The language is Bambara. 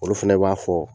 Olu fɛnɛ b'a fɔ